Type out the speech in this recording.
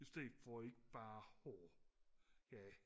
i stedet for ikke bare og ja